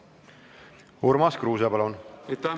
Urmas Kruuse, palun!